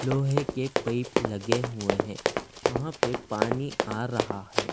लोहे के पैप लगे हुए हैं वहाँ पे पानी आ रहा है।